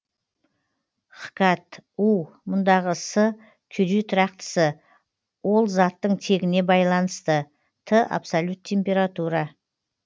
хкат у мұндагы с кюри тұрақтысы ол заттың тегіне байланысты т абсолют температура